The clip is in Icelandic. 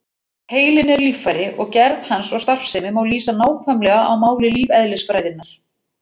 Heilinn er líffæri og gerð hans og starfsemi má lýsa nákvæmlega á máli lífeðlisfræðinnar.